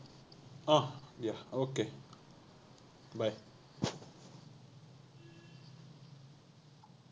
আহ দিয়া okay, bye